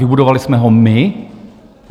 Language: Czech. Vybudovali jsme ho my?